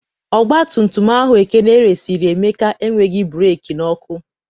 ọgbatumtum ahụ Ekene resịrị Emeka enweghị breekị na ọkụ.